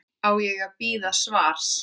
Á ég að bíða svars?